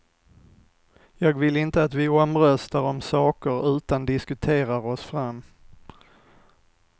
Jag vill inte att vi omröstar om saker utan diskuterar oss fram.